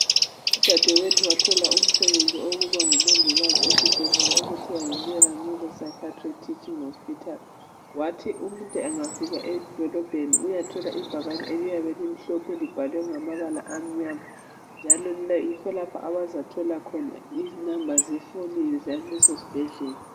udadewethu wathola umsebenzi wokuba ngumongikazi esibhedlela okuthiwa yi pschatric neuro hospitala wathi umuntu engafika edolobheni uyathola ibhakane eliyabe limhlophe libhalwe ngamabala amnyama njalo yikho lapho abazathola khona i number yefoni zaleso sibhedlela